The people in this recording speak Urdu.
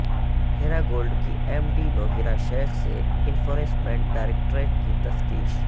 ہیراگولڈ کی ایم ڈی نوہیرا شیخ سے انفورسمنٹ ڈائریکٹوریٹ کی تفتیش